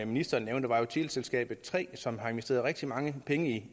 ministeren nævnte er teleselskabet tre som har investeret rigtig mange penge i